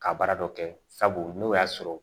Ka baara dɔ kɛ sabu n'o y'a sɔrɔ